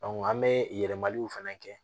an bɛ yɛlɛmaliw fɛnɛ kɛ